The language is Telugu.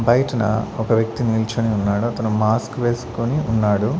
బయటన ఒక వ్యక్తి నీల్చొని ఉన్నాడు అతను మాస్క్ వేసుకొని ఉన్నాడు.